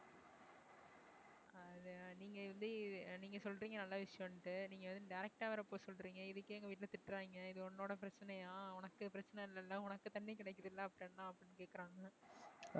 அது நீங்க எப்படி அஹ் நீங்க சொல்றீங்க நல்ல விஷயம்னுட்டு நீங்க வந்து direct ஆ வேற போக சொல்றீங்க. இதுக்கே எங்க வீட்டுல, திட்டுறாங்க இது உன்னோட பிரச்சனையா உனக்கு பிரச்சனை இல்லல்ல உனக்கு தண்ணி கிடைக்குதுல்ல அப்புறம் என்ன அப்படின்னு கேட்கிறாங்க.